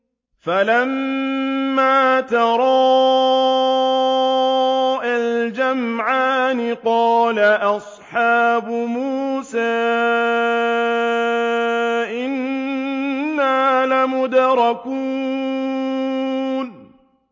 فَلَمَّا تَرَاءَى الْجَمْعَانِ قَالَ أَصْحَابُ مُوسَىٰ إِنَّا لَمُدْرَكُونَ